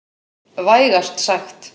Vægast sagt.